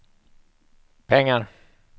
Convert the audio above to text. pengar